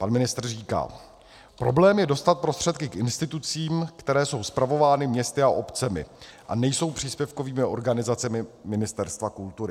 Pan ministr říká: Problém je dostat prostředky k institucím, které jsou spravovány městy a obcemi a nejsou příspěvkovými organizacemi Ministerstva kultury.